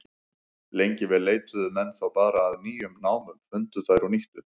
Lengi vel leituðu menn þá bara að nýjum námum, fundu þær og nýttu.